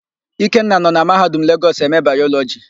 Ikenna nọ na Mahadum Legọs eme Bayọlọjị.